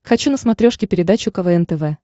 хочу на смотрешке передачу квн тв